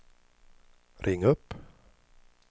ring upp